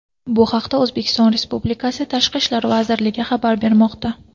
Bu haqda O‘zbekiston Respublikasi Tashqi ishlar vazirligi xabar bermoqda .